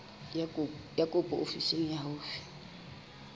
ya kopo ofising e haufi